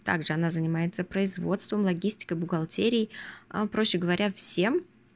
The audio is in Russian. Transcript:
также она занимается производством логистика бухгалтерией а проще говоря всем